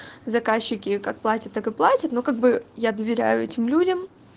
заказчики как платят так и платят ну как бы я доверяю этим людям